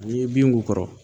N'i ye bin k'u kɔrɔ